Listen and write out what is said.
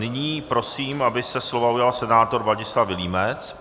Nyní prosím, aby se slova ujal senátor Vladislav Vilímec.